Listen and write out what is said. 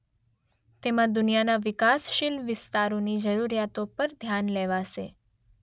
તેમાં દુનિયાના વિકાસશીલ વિસ્તારોની જરૂરિયાતો ધ્યાન પર લેવાશે.